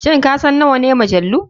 Shin kasan nawane majalu?